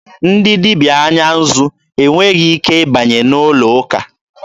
Ndị dibịa anya nzụ e nweghị ike ịbanye n'ụlọ ụka.